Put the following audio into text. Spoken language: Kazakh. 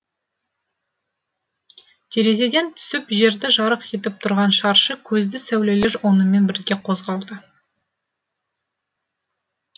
терезеден түсіп жерді жарық етіп тұрған шаршы көзді сәулелер онымен бірге қозғалды